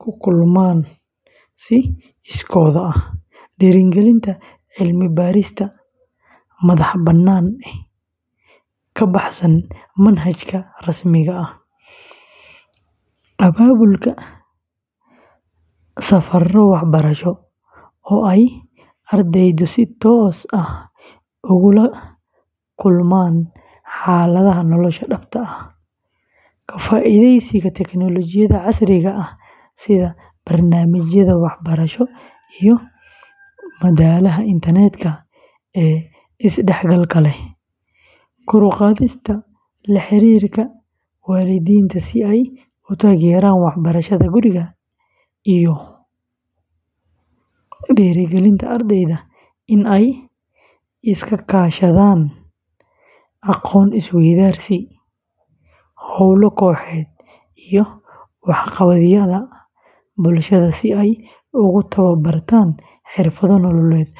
ku kulmaan si iskood ah, dhiirrigelinta cilmi-baarista madax-bannaan ee ka baxsan manhajka rasmiga ah, abaabulka safarro waxbarasho oo ay ardaydu si toos ah ugu la kulmaan xaaladaha nolosha dhabta ah, ka faa’iidaysiga tiknoolajiyadda casriga ah sida barnaamijyada waxbarasho iyo madalaha internetka ee isdhexgalka leh, kor u qaadista la xiriirka waalidiinta si ay u taageeraan waxbarashada guriga, iyo dhiirrigelinta ardayda inay iska kaashadaan aqoon-is-weydaarsiyo, hawlo kooxeed iyo waxqabadyada bulshada si ay ugu tababartaan xirfado nololeed.